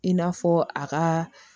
I n'a fɔ a ka